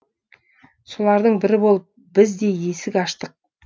солардың бірі болып біз де есік аштық